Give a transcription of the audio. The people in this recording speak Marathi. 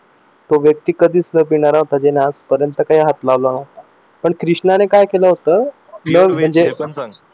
तो व्यक्ती कधीच पिणारा नव्हता त्याने आजपर्यंत कधीच हात लावला नव्हता पण कृष्णाने काय केलं होत